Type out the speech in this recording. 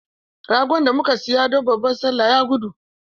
Ragon da muka saya don babban Sallah ya gudu.